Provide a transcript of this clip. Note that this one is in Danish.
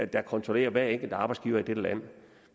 der kontrollerer hver enkelt arbejdsgiver i dette land